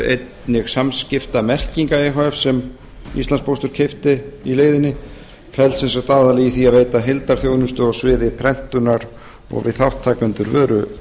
einnig samskiptamerkinga e h f sem íslandspóstur keypti í leiðinni fellst aðallega í því að veita heildarþjónustu á sviði prentunar og fyrir þátttakendur